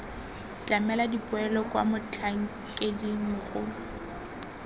tlamela dipoelo kwa motlhankeding mogolo